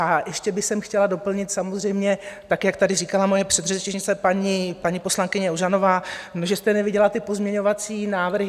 A ještě bych chtěla doplnit samozřejmě tak, jak tady říkala moje předřečnice, paní poslankyně Ožanová, že jste neviděla ty pozměňovací návrhy.